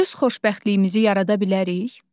Öz xoşbəxtliyimizi yarada bilərik?